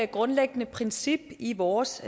grundlæggende princip i vores